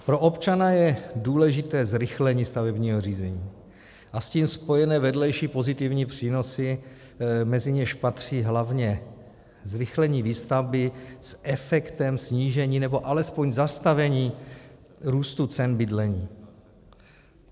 Pro občana je důležité zrychlení stavebního řízení a s tím spojené vedlejší pozitivní přínosy, mezi něž patří hlavně zrychlení výstavby s efektem snížení, nebo alespoň zastavení růstu cen bydlení.